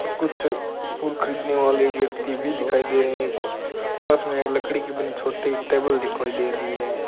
और कुछ फूल खरीदने वाले व्यक्ति भी दिखाई दे रहे हैं ख् पास में एक लकड़ी की बून छोटी टेबल दिखाई दे रही है।